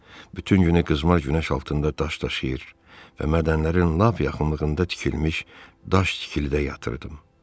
Bütün günü qızmar günəş altında daş daşıyır və mədənlərin lap yaxınlığında tikilmiş daş tikilidə yatırdım.